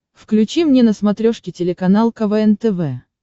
включи мне на смотрешке телеканал квн тв